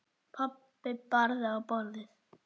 Pabbi barði í borðið.